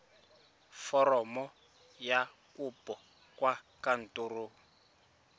foromo ya kopo kwa kantorong